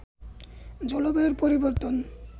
জলবায়ুর পরিবর্তন